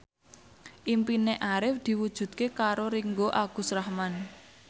impine Arif diwujudke karo Ringgo Agus Rahman